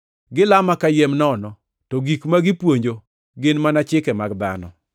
Gilama kayiem nono; to gik ma gipuonjo gin mana chike mag dhano.’ + 15:9 \+xt Isa 29:13\+xt* ”